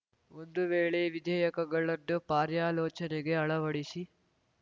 ಒಂದು ವೇಳೆ ವಿಧೇಯಕಗಳನ್ನು ಪಾರ್ಯಾಲೋಚನೆಗೆ ಅಳವಡಿಸಿ